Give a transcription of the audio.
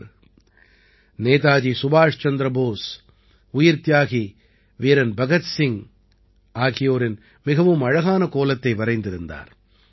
இவர் நேதாஜி சுபாஷ் சந்திர போஸ் உயிர்த்தியாகி வீரன் பகத் சிங்கின் மிகவும் அழகான கோலத்தை வரைந்திருந்தார்